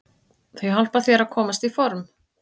Það hjálpar þér að komast í form.